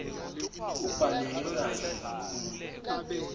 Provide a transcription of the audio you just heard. kubhaleke kahle kakhulu